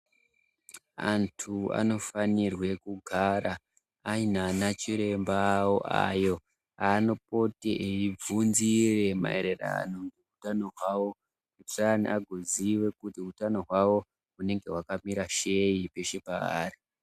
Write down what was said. Antu anofanirwe kugara aine anachiremba awo ayo aanopote eibvunze maererano ngehutano hwawo vasane vakuziya kuti hutano hwawo hunenge hwakamira sei peshe paari.